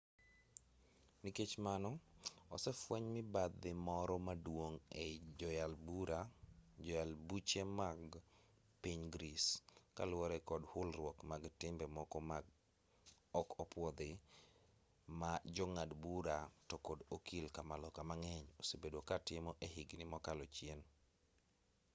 nikech mano osefueny mibadhi moro maduong' ei joyal buche mag piny greece kaluwore kod hulruok mag timbe moko ma ok opwodhi ma jong'ad bura to kod okil kamaloka mang'eny osebedo katimo e higni mokalo chien